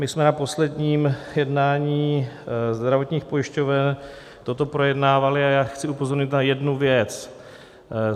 My jsme na posledním jednání zdravotních pojišťoven toto projednávali a já chci upozornit na jednu věc.